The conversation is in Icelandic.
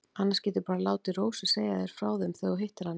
Annars geturðu bara látið Rósu segja þér frá þeim þegar þú hittir hana.